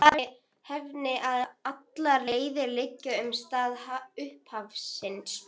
Gleraugun falla í vaskinn er höfuð hans skellur á speglinum.